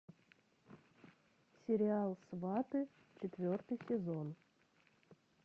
сериал сваты четвертый сезон